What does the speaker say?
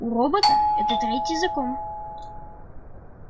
у робота это третий закон